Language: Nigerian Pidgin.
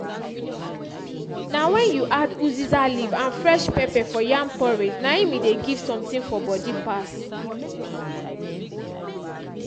na wen you add uziza leaf and fresh pepper for yam porridge na im e dey give something for body pass